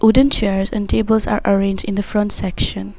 Wooden chairs and tables are arranged in the front section.